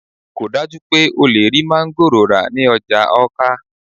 kò dájú pé o lè rí máńgòrò rà ní ọjà Awka